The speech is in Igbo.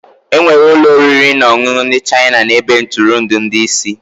Enwere ụlọ oriri na ọṅụṅụ ndị China na ebe ntụrụndụ ndị isi.